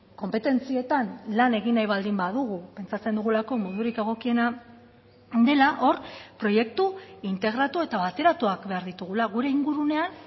konpetentzietan lan egin nahi baldin badugu pentsatzen dugulako modurik egokiena dela hor proiektu integratu eta bateratuak behar ditugula gure ingurunean